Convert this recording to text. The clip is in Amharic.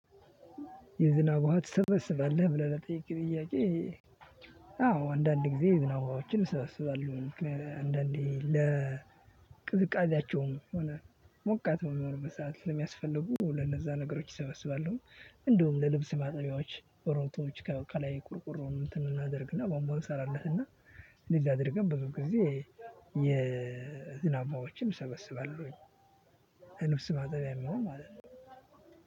የዝናብ ውሃ ትስባለብ? ብለህ ለጠየከኝ ጥያቄ፤ አዎ አንዳንድ ጊዜ የዝናብ ውሃዎችን እሰበስባለሁኝ አንዳንዴ ለቅዝቃዜያቸውም ሆነ ሞቃት ሆነ ሰዓት ስለሚያስፈልጉ ለነዛ ነገሮች እሰበስባለሁኝ። እንደውም ለልብስ ማጠቢያዎች ለሮቶዎች ከላይ ቁርቁር እንትን እናደርግና ቧንባ እንሰራለትና እንደዛ አድርገን ብዙ ጊዜ የዝናብ ውሃዎችን እሰበስባለሁኝ ለልብስ ማጠቢያ የሚሆን ማለት ነው።